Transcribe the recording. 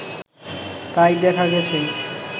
তাই দেখা গেছে